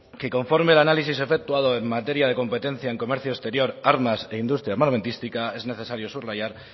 que conforme al análisis efectuado en materia de competencia en comercio exterior armas e industria armamentística es necesario subrayar